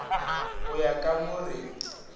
go ya ka mo re